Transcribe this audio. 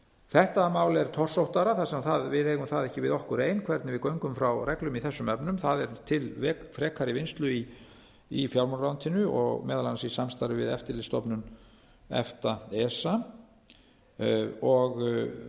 þetta mál er torsóttara þar sem við eigum það ekki við okkur ein hvernig við göngum frá reglum í þessum efnum það er til frekari vinnslu í fjármálaráðuneytinu meðal annars í samstarfi við eftirlitsstofnun efta esa og